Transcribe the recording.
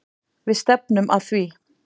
Við stefnum að því.